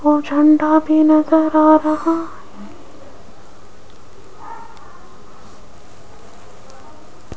और झंडा भी नजर आ रहा--